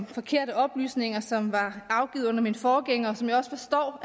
forkerte oplysninger som var afgivet under min forgænger og som jeg også forstår